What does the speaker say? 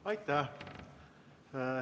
Aitäh!